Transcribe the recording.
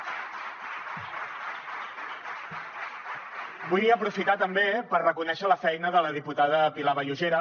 vull aprofitar també per reconèixer la feina de la diputada pilar vallugera